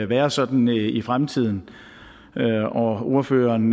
være sådan i fremtiden ordføreren